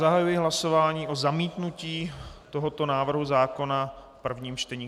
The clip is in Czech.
Zahajuji hlasování o zamítnutí tohoto návrhu zákona v prvním čtení.